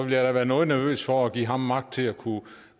da være noget nervøs for at give ham magt til at kunne